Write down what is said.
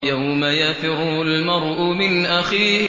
يَوْمَ يَفِرُّ الْمَرْءُ مِنْ أَخِيهِ